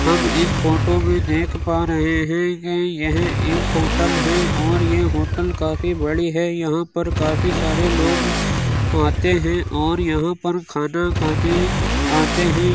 हम इस फ़ोटो में देख पा रहे हैं कि यह एक होटल है और ये होटल काफ़ी बड़ी है यहाँ पर काफ़ी सारे लोग आते हैं और यहाँ पर खाना खाने आते हैं।